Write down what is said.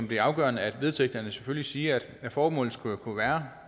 bliver afgørende at vedtægterne selvfølgelig siger at formålet skulle kunne være